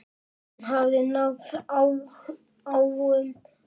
Hann hafði náð háum aldri.